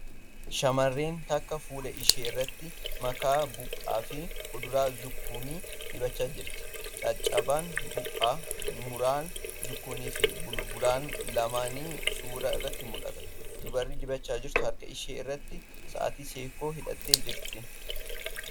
Shamarreen takka fuula ishee irratti makaa buuphaa fi kuduraa zukkunnii dibachaa jirti. Caccabaan buuphaa, muraan zukkunnii fi bulbulaan lamaanii suura irratti mul'atu. Dubarri dibachaa jirtu harka ishee irratti sa'aatii seekkoo hidhatee jirti.